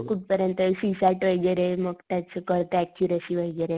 कुठं परियंत वैगेरे मग त्याच कळत एक्यूरसी वैगेरे.